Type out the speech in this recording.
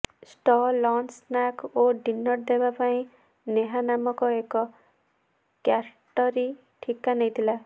ଷ୍ଟ lunch snacks ଓ dinner ଦେବାପାଇଁ ନେହା ନାମକ ଏକ କ୍ୟାଟରିଂ ଠିକା ନେଇଥିଲା